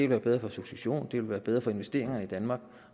være bedre for successionen det ville være bedre for investeringerne i danmark